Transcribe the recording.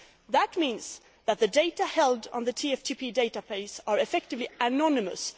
That means that the data held on the TFTP database are effectively anonymous.